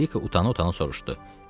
Anjelika utana-utana soruşdu.